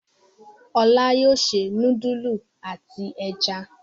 Olá yóò se núdúlù àti ẹja.